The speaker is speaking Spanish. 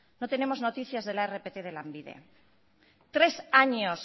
no tenemos noticias de la rpt de lanbide tres años